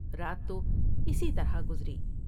رات تو اسی طرح گزری ۔